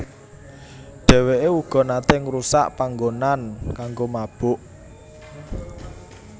Dheweke uga nate ngrusak panggonan kanggo mabok